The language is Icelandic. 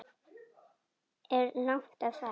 Er langt að fara?